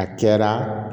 A caya